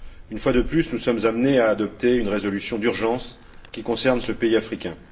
Une fois de plus, nous sommes amenés à adopter une résolution d'urgence qui concerne ce pays africain.